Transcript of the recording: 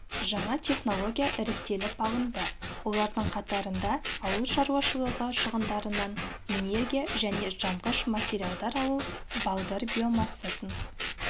жаңа технология іріктеліп алынды олардың қатарында ауыл шаруашылығы шығындарынан энергия және жанғыш материалдар алу балдыр биомассасын